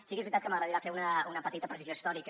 sí que és veritat que m’agradaria fer una petita precisió històrica